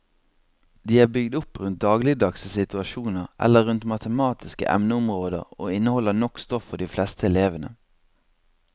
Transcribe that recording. De er bygd opp rundt dagligdagse situasjoner eller rundt matematiske emneområder og inneholder nok stoff for de fleste elevene.